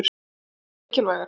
Voru þær mikilvægar?